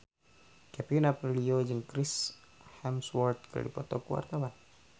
Kevin Aprilio jeung Chris Hemsworth keur dipoto ku wartawan